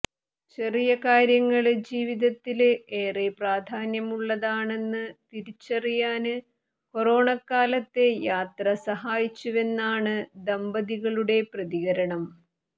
ചെറിയ കാര്യങ്ങള് ജീവിതത്തില് ഏറെ പ്രാധാന്യമുള്ളതാണെന്ന് തിരിച്ചറിയാന് കൊറോണക്കാലത്തെ യാത്ര സഹായിച്ചുവെന്നാണ് ദമ്പതികളുടെ പ്രതികരണം